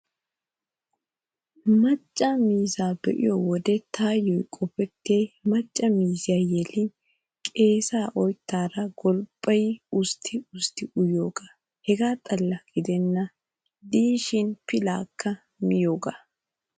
Macca miizzaa be'iyo wode taayyo qopettiyay macca miizzay yelin qeesaa oyttaara golppayi ustti ustti uyiyoogaa. Hegaa xalla gidennan diishin pilaakka miyoogaa.